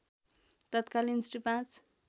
तत्कालीन श्री ५